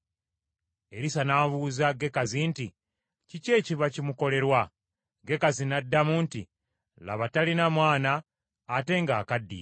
Erisa n’abuuza Gekazi nti, “Kiki ekiba kimukolerwa?” Gekazi n’addamu nti, “Laba talina mwana, ate ng’akaddiye.”